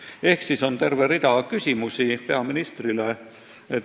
Seega on meil terve rida küsimusi peaministrile.